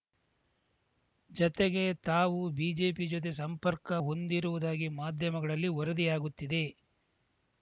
ಜತೆಗೆ ತಾವು ಬಿಜೆಪಿ ಜೊತೆ ಸಂಪರ್ಕ ಹೊಂದಿರುವುದಾಗಿ ಮಾಧ್ಯಮಗಳಲ್ಲಿ ವರದಿಯಾಗುತ್ತಿದೆ